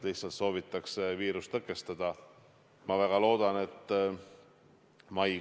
Suhted on väga head, väga lähedased persoonide vahel.